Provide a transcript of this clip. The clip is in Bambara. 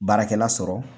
Baarakɛla sɔrɔ